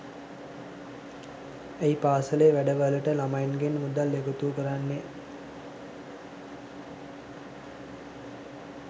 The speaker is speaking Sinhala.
ඇයි පාසලේ වැඩවලට ළමයින්ගෙන් මුදල් එකතු කරන්නේ